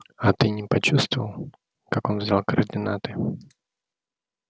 а ты не почувствовал как он взял координаты